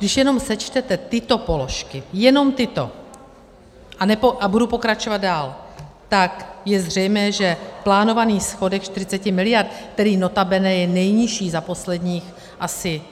Když jenom sečtete tyto položky, jenom tyto, a budu pokračovat dál, tak je zřejmé, že plánovaný schodek 40 mld., který notabene je nejnižší za posledních asi,